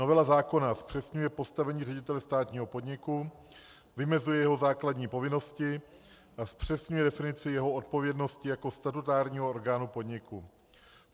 Novela zákona zpřesňuje postavení ředitele státního podniku, vymezuje jeho základní povinnosti a zpřesňuje definici jeho odpovědnosti jako statutárního orgánu podniku.